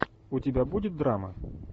у тебя будет драма